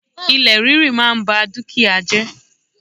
Ilẹ̀ ríri máa n ba dúkìá jẹ́